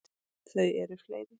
Þau eru fleiri.